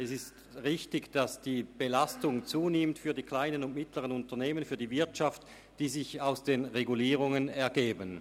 Es ist richtig, dass die Belastung, die sich aus den Regulierungen ergibt, für die KMU und die Wirtschaft im Allgemeinen zunimmt.